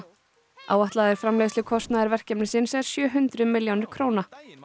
áætlaður framleiðslukostnaður verkefnisins er sjö hundruð milljónir króna